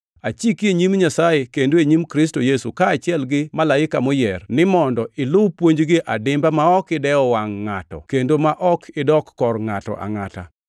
Achiki e nyim Nyasaye kendo e nyim Kristo Yesu, kaachiel gi malaika moyier, ni mondo ilu puonjgi adimba ma ok idewo wangʼ ngʼato kendo ma ok idok kor ngʼato angʼata.